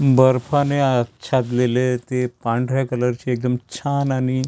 बर्फाने अच्छादलेले ते पांढऱ्या कलरचे एकदम छान आणि छ --